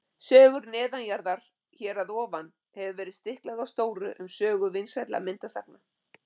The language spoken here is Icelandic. Sögur neðanjarðar Hér að ofan hefur verið stiklað á stóru um sögu vinsælla myndasagna.